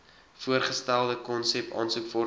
voorgestelde konsep aansoekvorms